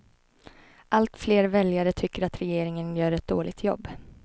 Allt fler väljare tycker att regeringen gör ett dåligt jobb.